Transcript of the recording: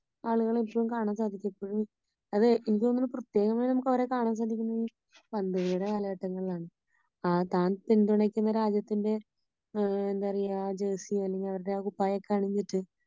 ആളുകളെ ഏറ്റവും എനിക്കു തോന്നുന്നേ പ്രത്യേക മായി നമുക്ക് അവരെ കാണാൻ സാധിക്കുന്നേ പന്തുകളിയുടെ കാലഘട്ടങ്ങളിലാണ് . ആ താൻ പിന്തുണയ്ക്കുന്ന രാജ്യത്തിന്റെ എന്താ പറയാ ജേർസി അണിഞ്ഞ് അവരുടെ ആ കുപ്പായമൊക്കെ അണിഞ്ഞിട്ട്